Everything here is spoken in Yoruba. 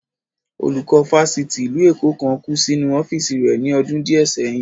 Olùkọ́ Fáṣítì ìlú Èkó kan kù sínú ọ́fìsì rẹ ni ọdún díẹ̀ sẹyìn